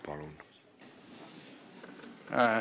Palun!